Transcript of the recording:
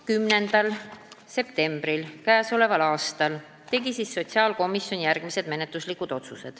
10. septembril k.a tegi sotsiaalkomisjon järgmised menetluslikud otsused.